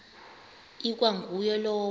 ikwa nguye lowo